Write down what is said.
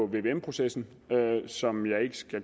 vvm processen som jeg ikke skal